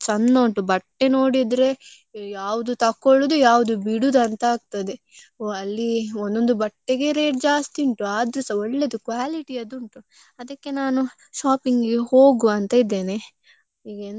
ಬಿಡುದು ಅಂತ ಆಗ್ತದೆ ಅಲ್ಲಿ ಒಂದೊಂದು ಬಟ್ಟೆಗೆ rate ಜಾಸ್ತಿ ಉಂಟು, ಆದ್ರೂಸ ಒಳ್ಳೆದು quality ದ್ದು ಉಂಟು ಅದಕ್ಕೆ ನಾನು shopping ಇಗೆ ಹೋಗ್ವ ಅಂತ ಇದ್ದೇನೆ ಈಗ ಎಂತ ಆಗ್ತದಂತ ಗೊತ್ತಿಲ್ಲ.